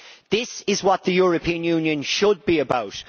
This is what the European Union should be about.